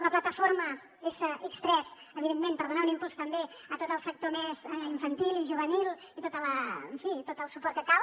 la plataforma sx3 evidentment per donar un impuls també a tot el sector més infantil i juvenil i en fi tot el suport que cal